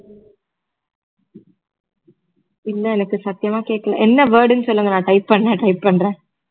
இல்ல எனக்கு சத்தியமா கேட்கல என்ன word ன்னு சொல்லுங்க நான் type பண்ண try பண்றேன்